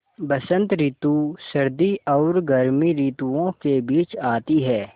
बसंत रितु सर्दी और गर्मी रितुवो के बीच मे आती हैँ